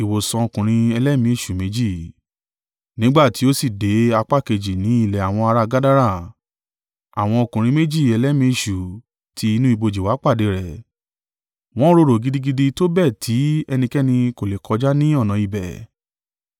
Nígbà ti ó sì dé apá kejì ní ilẹ̀ àwọn ara Gadara, àwọn ọkùnrin méjì ẹlẹ́mìí èṣù ti inú ibojì wá pàdé rẹ̀. Wọn rorò gidigidi tó bẹ́ẹ̀ tí ẹnikẹ́ni kò le kọjá ní ọ̀nà ibẹ̀.